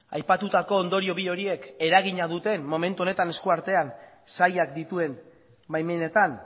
aipatutako ondorio bi horiek eragina duten momentu honetan esku artean sailak dituen baimenetan